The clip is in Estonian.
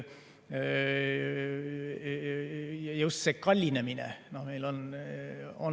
Just see kallinemine.